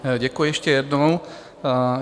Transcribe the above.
Děkuji ještě jednou.